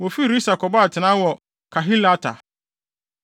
Wofii Risa kɔbɔɔ atenae wɔ Kahelata.